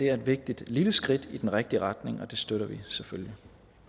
er et vigtigt lille skridt i den rigtige retning og det støtter vi selvfølgelig